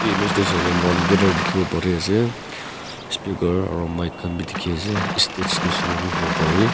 e emage saley mon guitar dikhi bo pari ase speaker aru mic khan dekhi ase stage misena bhi hobo pare.